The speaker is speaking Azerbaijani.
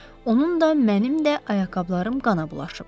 Onun da, mənim də ayaqqabılarım qana bulaşıb.